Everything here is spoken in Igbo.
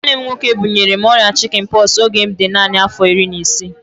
Nwanne m nwoke bunyere m ọrịa chikin pọksi oge m dị naanị afọ iri na isii